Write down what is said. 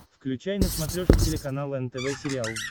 включай на смотрешке телеканал нтв сериал